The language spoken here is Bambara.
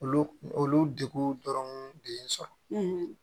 Olu olu deguw dɔrɔn de ye n sɔrɔ